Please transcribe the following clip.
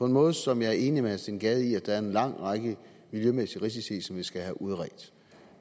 en måde som jeg er enig med herre steen gade i at der er en lang række miljømæssige risici i som vi skal have udredt